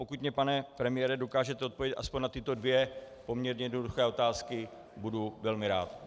Pokud mi, pane premiére, dokážete odpovědět aspoň na tyto dvě poměrně jednoduché otázky, budu velmi rád.